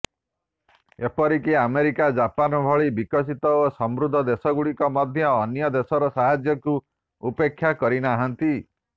ଏପରିକି America Japan ଭଳି ବିକଶିତ ଓ ସମୃଦ୍ଧ ଦେଶଗୁଡ଼ିକ ମଧ୍ୟ ଅନ୍ୟ ଦେଶର ସାହାଯ୍ୟକୁ ଉପେକ୍ଷା କରିନାହାନ୍ତି